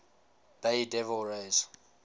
bay devil rays